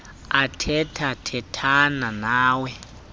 athetha thethane nawe